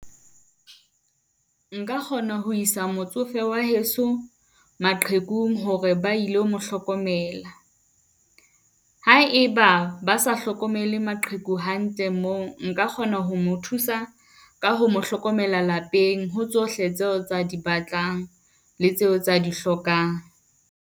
Nka kgona ho isa motsofe wa heso maqhekung hore ba ilo mo hlokomela. Ha e ba ba sa hlokomele maqheku hantle moo, nka kgona ho mo thusa ka ho mo hlokomela lapeng ho tsohle tseo tse a di batlang, le tseo tse a di hlokang.